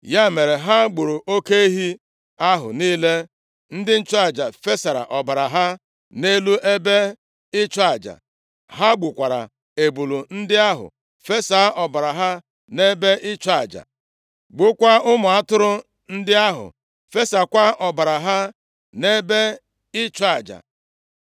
Ya mere, ha gburu oke ehi ahụ niile. Ndị nchụaja fesara ọbara ha nʼelu ebe ịchụ aja. Ha gbukwara ebule ndị ahụ fesa ọbara ha nʼebe ịchụ aja, gbukwaa ụmụ atụrụ ndị ahụ fesakwa ọbara ha nʼebe ịchụ aja.